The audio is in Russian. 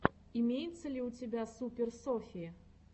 имеется ли у тебя супер софи